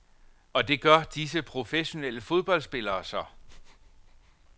Og det gør disse professionelle fodboldspillere så.